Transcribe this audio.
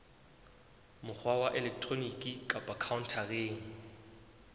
mokgwa wa elektroniki kapa khaontareng